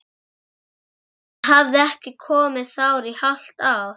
Hann hafði ekki komið þar í hálft ár!